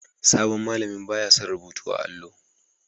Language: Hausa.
Sabon malamin ba ya son rubutu a'allo.